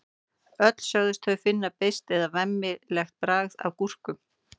öll sögðust þau finna beiskt eða „vemmilegt“ bragð af gúrkum